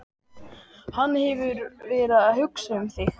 Hann hefur verið að hugsa um þig.